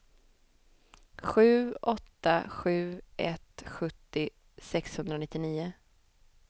sju åtta sju ett sjuttio sexhundranittionio